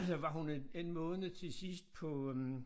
Så var hun øh en en måned til sidst på øh